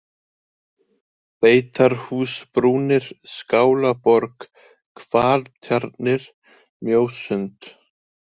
Beitarhúsbrúnir, Skálaborg, Hvaltjarnir, Mjósund